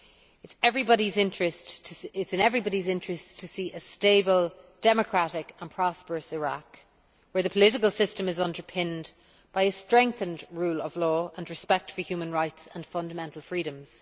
It is in everybody's interest to see a stable, democratic and prosperous Iraq, where the political system is underpinned by a strengthened rule of law and respect for human rights and fundamental freedoms.